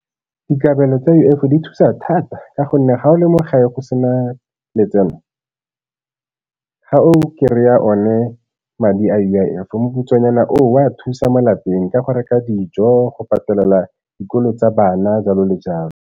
Dikabelo tsa U_I_F di thusa thata ka gonne ga o lemoga ye go se na letseno ga o kry-a one madi a U_I_F thusa mo lapeng ka go reka dijo, go patela dikolo tsa bana jalo le jalo.